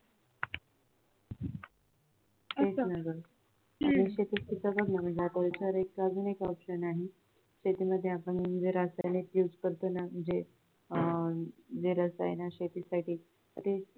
तेच ना गं अजून एक option आहे शेतीमध्ये आपण जे रसायन use करतो ना म्हणजे जे रसायन शेतीसाठी ते